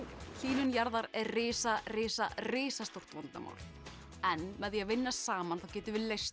hlýnun jarðar er risa risa risastór vandamál en með því að vinna saman þá getum við leyst